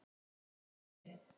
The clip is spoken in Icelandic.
Budda: Nei, nei.